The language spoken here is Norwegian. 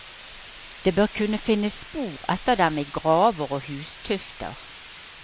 Det bør kunne finnes spor etter dem i graver og hustufter.